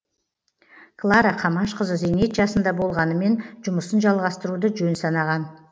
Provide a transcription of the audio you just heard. клара камашқызы зейнет жасында болғанымен жұмысын жалғастыруды жөн санаған